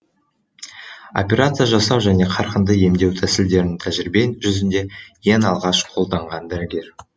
операция жасау және қарқынды емдеу тәсілдерін тәжірибе жүзінде ең алғаш қолданған дәрігер